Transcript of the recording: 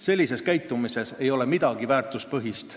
Sellises käitumises ei ole midagi väärtuspõhist.